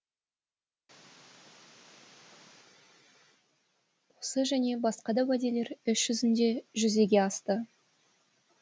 осы және басқа да уәделер іс жүзінде жүзеге асты